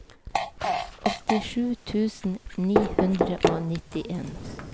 åttisju tusen ni hundre og nittien